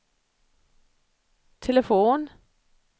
telefon